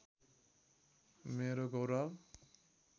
मेरो गौरव